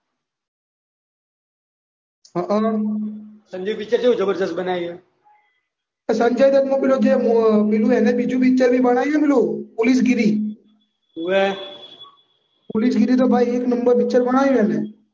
Sanju picture કેવું જબરજસ્ત બનાવ્યું છે. સંજય દત્તનું પહેલું અને બીજું પિક્ચર બનાવ્યું છે ને પેલું પોલીસગીરી. ઓવે. પોલીસગીરી તો ભાઈ એક નંબર પિક્ચર બનાવ્યું છે એને.